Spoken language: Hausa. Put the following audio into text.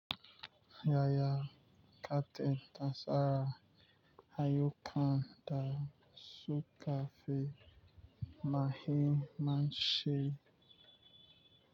Yaya kake ta tsara ayukan da su kafi muhimmanci.